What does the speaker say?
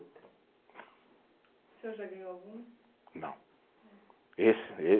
O senhor já ganhou algum? Não, esse